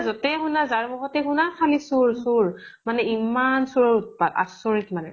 যিতে শুনা, যাৰ মুখতে শুনা খালি চুৰ চুৰ। মানে ইমান চুৰৰ উৎপাত। আচৰিত মানে।